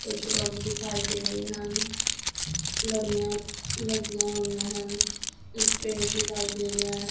ਕੁਛ ਲੋਕ ਦਿਖਾਏ ਦੇ ਰਹੇ ਹਨ ਲੜੀਆਂ ਲੱਗੀਆਂ ਹੋਈਆਂ ਹਨ ਇਕ ਪੇੜ ਦਿਖਾਈ ਦੇ ਰਿਹਾ ਹੈ।